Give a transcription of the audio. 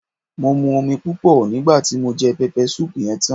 Mo mu omi púpò nígbàti mo je pepper soup yen tan